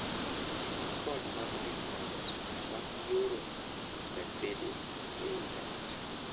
Ti gi kode mag discount sama ioro gasede e Intanet.